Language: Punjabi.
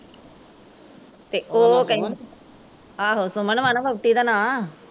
ਤੇ ਓਹ ਕਹਿੰਦੀ ਆਹੋ ਸੁਮਨ ਵਾਂ ਨਾ ਵੋਹਟੀ ਦਾ ਨਾਂ